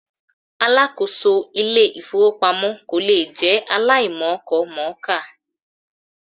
Alákòóso Ilé-ìfowópamọ́ kò lè jẹ́ aláìmọkọmọ̀ọ́kà.